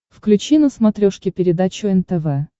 включи на смотрешке передачу нтв